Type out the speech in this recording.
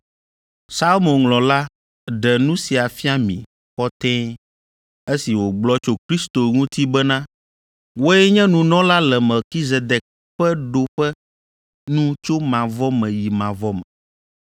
Psalmoŋlɔla ɖe nu sia fia mi kɔtɛe esi wògblɔ tso Kristo ŋuti bena, “Wòe nye nunɔla le Melkizedek ƒe ɖoƒe nu tso mavɔ me yi mavɔ me.”